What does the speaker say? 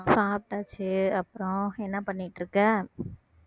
சாப்பிட்டாச்சு அப்புறம் என்ன பண்ணிட்டு இருக்க